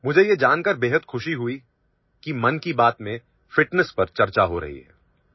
मुझे यह जानकर बेहद खुशी हुई कि मन की बात मेंଫିଟନେସ୍ पर चर्चा हो रही है